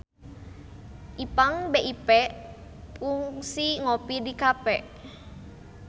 Ipank BIP kungsi ngopi di cafe